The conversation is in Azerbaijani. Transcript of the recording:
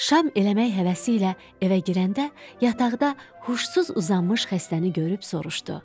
Şam eləmək həvəsi ilə evə girəndə yataqda huşsuz uzanmış xəstəni görüb soruşdu: